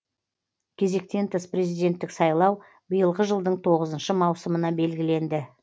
кезектен тыс президенттік сайлау биылғы жылдың тоғызыншы маусымына белгіленді